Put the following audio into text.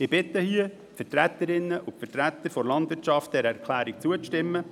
Ich bitte die Vertreterinnen und Vertreter der Landwirtschaft, dieser Erklärung zuzustimmen.